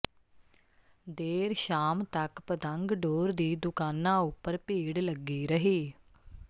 ਦੇਰ ਸ਼ਾਮ ਤੱਕ ਪਤੰਗ ਡੋਰ ਦੀ ਦੁਕਾਨਾਂ ਉਪਰ ਭੀੜ ਲੱਗੀ ਰਹੀ